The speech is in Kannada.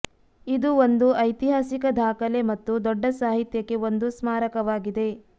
ಇದು ಒಂದು ಐತಿಹಾಸಿಕ ದಾಖಲೆ ಮತ್ತು ದೊಡ್ಡ ಸಾಹಿತ್ಯಕ್ಕೆ ಒಂದು ಸ್ಮಾರಕವಾಗಿದೆ